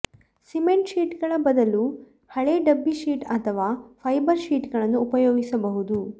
cement ಶೀಟ್ಗಳ ಬದಲು ಹಳೆ ಡಬ್ಬಿ ಶೀಟ್ ಅಥವಾ ಫೈಬರ್ ಶೀಟ್ಗಳನ್ನು ಉಪಯೋಗಿಸಬಹುದು